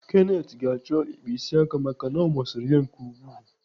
Kenneth ga-achọ ịkpa isi aka maka na ọ masịrị ya nke ukwuu.